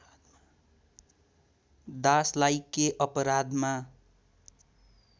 दासलाई के अपराधमा